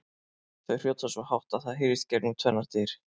Þau hrjóta svo hátt að það heyrist gegnum tvennar dyr!